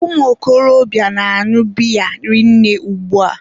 ụmụ okorobịa na-añụ biya rinne ugba.